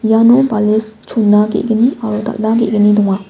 iano bales chona ge·gni aro dal·a ge·gni donga.